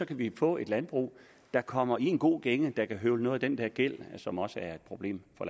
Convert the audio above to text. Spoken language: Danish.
kan vi få et landbrug der kommer i en god gænge der kan høvle noget af den der gæld som også er et problem for